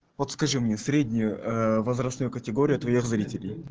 вот скажи мне среднюю э возрастную категорию твоих зрителей